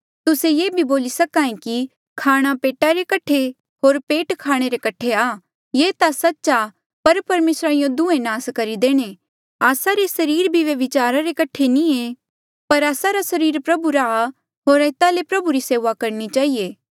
तुस्से ये भी बोली सके कि खाणा पेटा रे कठे होर पेट खाणे रे कठे आ ये ता सच्च आ पर परमेसरा यूँ दुहें नास करी देणे आस्सा रे सरीर भी व्यभिचारा रे कठे नी ऐें पर आस्सा रा सरीर प्रभु रा होर एता ले प्रभु री सेऊआ करणी चहिए